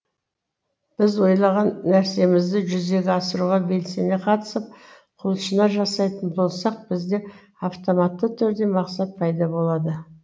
біз ойлаған нәрсемізді жүзеге асыруға белсене қатысып құлшына жасайтын болсақ бізде автоматты түрде мақсат пайда болады